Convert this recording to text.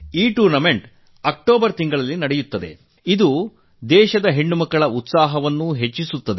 ಈ ಟೂರ್ನಿ ಬರುವ ಅಕ್ಟೋಬರ್ ತಿಂಗಳಿನಲ್ಲಿ ನಡೆಯುತ್ತದೆ ಇದು ದೇಶದ ಹೆಣ್ಣುಮಕ್ಕಳ ಉತ್ಸಾಹವನ್ನುನೂರ್ಮಡಿಗೊಳಿಸುತ್ತದೆ